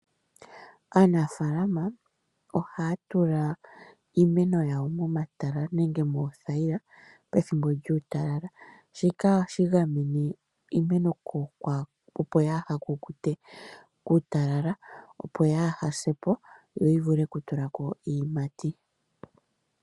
Aanafaalama ohaya tula iimeno yawo momatala nenge moothayila pethimbo lyuutalala shika ohashi gamene iimeno opo kayi kukute pethimbo lyuutalala opo kayisepo to yivule oku tulako iiyimati.